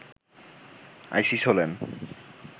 ISIS হলেন